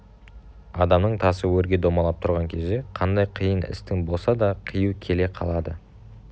адамның тасы өрге домалап тұрған кезде қандай қиын істің болса да қиюы келе қалады